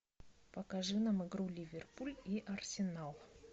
покажи нам игру ливерпуль и арсенал